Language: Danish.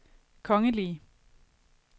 kongelige